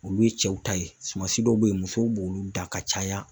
Olu ye cɛw ta ye sumansi dɔw bɛ yen musow b'olu dan ka caya.